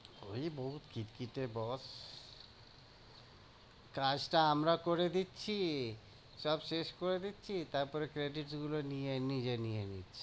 ওই বহুত খিটখিটে boss কাজটা আমরা করে দিচ্ছি, সব শেষ করে দিচ্ছি তারপরে credit গুলো নিয়ে নিজে নিয়ে নিচ্ছে।